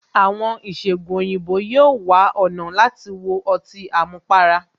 Àwọn ìṣẹgun òyìnbó yóò wá ọ̀nà láti wo ọtí àmupara